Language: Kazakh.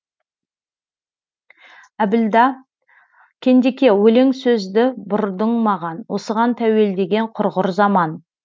әбілда кендеке өлең сөзді бұрдың маған осыған тәуелдеген құрғыр заман